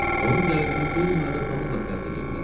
Onun qəlbini qeyri-adi asanlıqla fəth eləyə bilər.